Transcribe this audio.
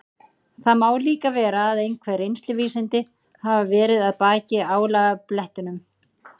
Það má líka vera að einhver reynsluvísindi hafi verið að baki álagablettunum.